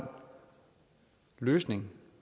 løsning